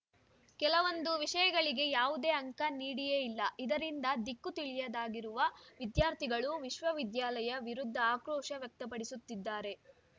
ಕೆಲವೊಂದು ವಿಷಯಗಳಿಗೆ ಯಾವುದೇ ಅಂಕ ನೀಡಿಯೇ ಇಲ್ಲ ಇದರಿಂದ ದಿಕ್ಕು ತಿಳಿಯದಾಗಿರುವ ವಿದ್ಯಾರ್ಥಿಗಳು ವಿಶ್ವವಿದ್ಯಾಲಯ ವಿರುದ್ಧ ಆಕ್ರೋಶ ವ್ಯಕ್ತಪಡಿಸುತ್ತಿದ್ದಾರೆ